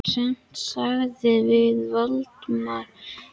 En sem sagt sagði Valdimar og dæsti af vanþóknun.